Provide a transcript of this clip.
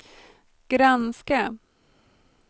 granska